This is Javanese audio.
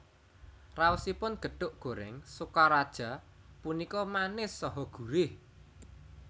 Raosipun gethuk gorèng Sokaraja punika manis saha gurih